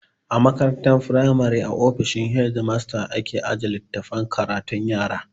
A makarantar firamari a ofishin hedimasta ake aje littafan karatun yara